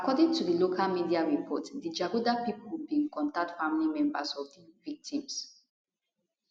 according to local media report di jaguda pipo bin contact family members of di victims